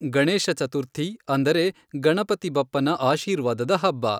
ಗಣೇಶ ಚತುರ್ಥಿ, ಅಂದರೆ ಗಣಪತಿ ಬಪ್ಪನ ಆಶೀರ್ವಾದದ ಹಬ್ಬ.